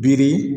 Biri